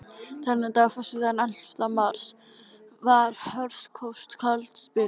Þennan dag, föstudaginn ellefta mars, var hörkufrost og kafaldsbylur.